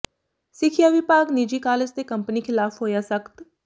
ਸਿੱਖਿਆ ਵਿਭਾਗ ਨਿੱਜੀ ਕਾਲਜ ਤੇ ਕੰਪਨੀ ਿਖ਼ਲਾਫ਼ ਹੋਇਆ ਸਖ਼ਤ